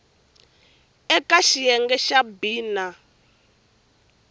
eka xiyenge xa b na